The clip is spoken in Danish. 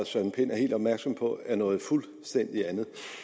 søren pind er helt opmærksom på at det er noget fuldstændig andet